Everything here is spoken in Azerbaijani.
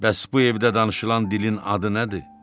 Bəs bu evdə danışılan dilin adı nədir?